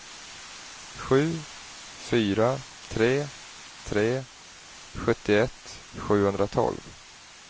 sju fyra tre tre sjuttioett sjuhundratolv